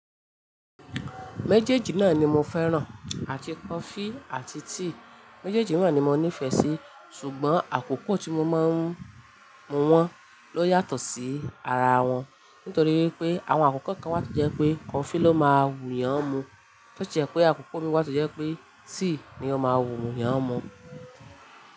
Méjèèjì náà ni mo fẹ́ràn, àti coffee àti tea. Méjèèjì náà ni mo nífẹ̀ẹ́ sí ṣùgbọ́n àkókò tí mo máa ń mu wọn ló yàtọ̀ sí ara wọn. Nítorí ipé àwọn àkókò kan wà tó jẹ́ pé coffee ló máa wù'yan mu, to si je pé àkókò mi wà tó jẹ́ pé tea ni ó máa wù'yan mu.